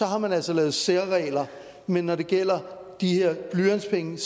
har man altså lave særregler men når det gælder de her blyantspenge